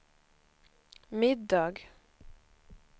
middag